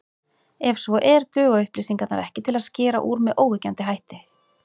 Ef svo er, duga upplýsingarnar ekki til að skera úr með óyggjandi hætti.